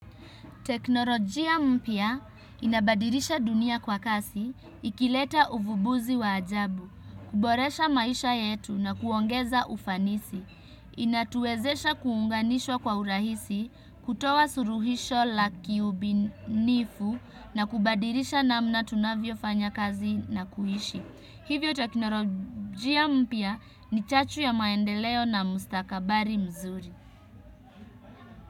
Teknolojia mpya inabadilisha dunia kwa kasi, ikileta uvumbuzi wa ajabu, kuboresha maisha yetu na kuongeza ufanisi, inatuwezesha kuunganishwa kwa urahisi, kutoa suruhisho la kiubinifu na kubadirisha namna tunavyo fanya kazi na kuhishi. Hivyo teknolojia mpya ni chachu ya maendeleo na mustakabari mzuri.